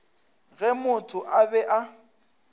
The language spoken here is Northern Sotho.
ge motho a be a